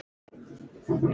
Í baksýn eru brött fjöll.